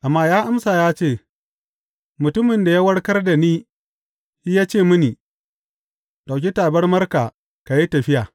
Amma ya amsa ya ce, Mutumin da ya warkar da ni shi ya ce mini, Ɗauki tabarmarka ka yi tafiya.’